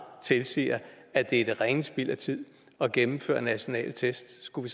tilsiger at det er det rene spild af tid at gennemføre nationale test skulle